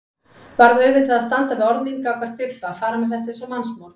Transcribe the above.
Varð auðvitað að standa við orð mín gagnvart Bibba, fara með þetta eins og mannsmorð.